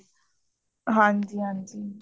ਹਾਂਜੀ ਹਾਂਜੀ